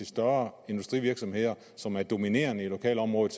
større industrivirksomheder som er dominerende i lokalområdet